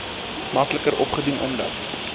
makliker opdoen omdat